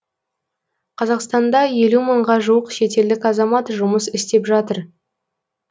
қазақстанда елу мыңға жуық шетелдік азамат жұмыс істеп жатыр